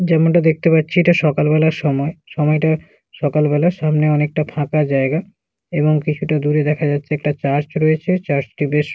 যেমনটা দেখতে পারছি এটা সকাল বেলার সময় সময়টা সকাল বেলার সামনে অনেকটা ফাঁকা জায়গা এবং একটু দূরে দেখা যাচ্ছে একটা চার্চ রয়েছে চার্চ টি বেশ--